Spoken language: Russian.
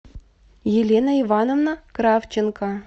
елена ивановна кравченко